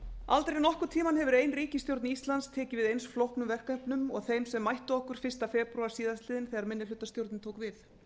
aldrei nokkurn tíma hefur ein ríkisstjórn íslands tekið við eins flóknum verkefnum og þeim sem mættu okkur fyrsta febrúar síðastliðinn þegar minnihlutastjórnin tók við